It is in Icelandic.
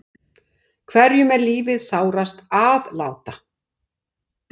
Hverjum er lífið sárast að láta.